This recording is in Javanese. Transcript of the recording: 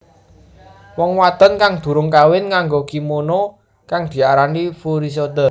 Wong wadon kang durung kawin nganggo kimono kang diarani furisode